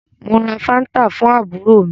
Mo ra fanta fún àbúrò mí